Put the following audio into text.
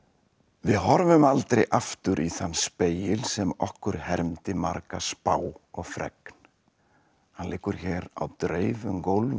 við horfum aldrei aftur í þann spegil sem okkur hermdi marga spá og fregn hann liggur hér á dreif um gólf